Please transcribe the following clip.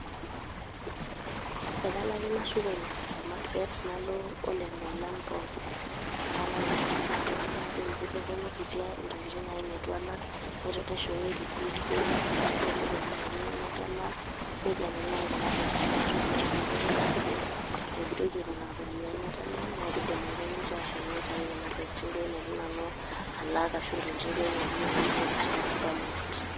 Ee kalo ake nashuko ina supermarket nalo o lelo olan pookin. Nalo ake naliki iltung`anak najoki kitoponikitia ntokitin naaji neitu alak, naishooyo e receipt duo naitodolu irropiyiani natalaa. Neikeni naaji kuna tokitin aitoki, ore pee edoli na aajo etogiroyie duo nena ropiyiani natalaa, naa kidim ake ninche ashom neitayu nena tokitin neitu duo alak. Ashu ntokitin duo neitu nanu aipotu teilo supermarket.